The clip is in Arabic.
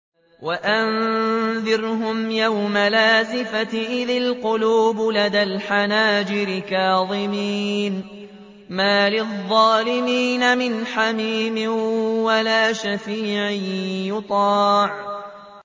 وَأَنذِرْهُمْ يَوْمَ الْآزِفَةِ إِذِ الْقُلُوبُ لَدَى الْحَنَاجِرِ كَاظِمِينَ ۚ مَا لِلظَّالِمِينَ مِنْ حَمِيمٍ وَلَا شَفِيعٍ يُطَاعُ